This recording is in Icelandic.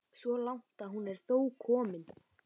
Svo langt er hún þó komin.